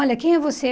Olha, quem é você?